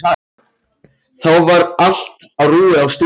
Þar var allt á rúi og stúi.